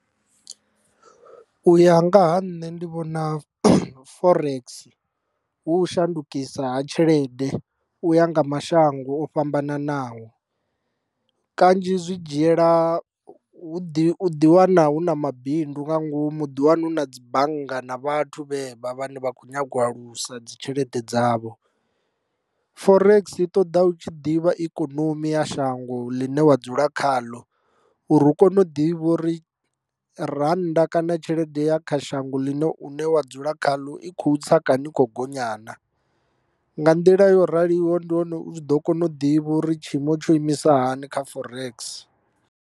U ya nga ha nṋe ndi vhona forex hu u shandukisa ha tshelede u ya nga mashango o fhambananaho kanzhi zwi dzhiela u ḓi u ḓi wana hu na mabindu nga ngomu u ḓi wanu na dzi bannga na vhathu vhevha vhane vha kho nyaga u alusa dzi tshelede dzavho. Forex i ṱoḓa u tshi ḓivha ikonomi ya shango ḽine wa dzula khaḽo uri u kone u ḓivha uri rannda kana tshelede ya kha shango ḽine une wa dzula khaḽo i khou tsa kana i kho gonya naa nga nḓila yo raliho ndi hone u tshi ḓo kona u ḓivha uri tshiimo tsho imisa hani kha forex.